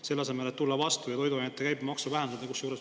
Selle asemel võiksite tulla vastu ja toiduainete käibemaksu vähendada.